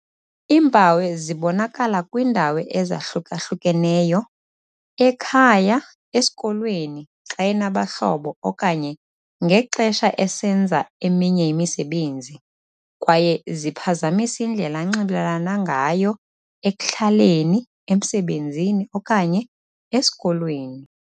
"Iimpawu zibonakala kwiindawo ezahluka-hlukeneyo - ekhaya, esikolweni, xa enabahlobo okanye ngexesha esenza eminye imisebenzi - kwaye ziphazamisa indlela anxibelelana ngayo ekuhlaleni, emsebenzini okanye esikolweni."